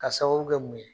Ka sababu kɛ mun ye